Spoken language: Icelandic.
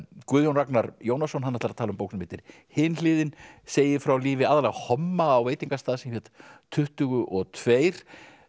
Guðjón Ragnar Jónasson hann ætlar að tala um bók sem heitir Hin hliðin segir frá lífi aðallega homma á veitingastað sem hét tuttugu og tvö